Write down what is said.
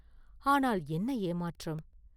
ஆனால் என்ன ஏமாற்றம்?